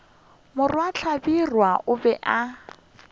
morwa hlabirwa o be a